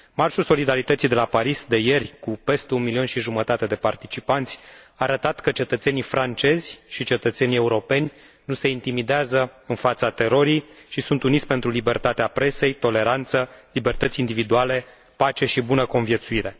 Marșul solidarității de ieri de la Paris, cu peste un milion și jumătate de participanți, a arătat că cetățenii francezi și cetățenii europeni nu se intimidează în fața terorii și sunt uniți pentru libertatea presei, toleranță, libertăți individuale, pace și bună conviețuire.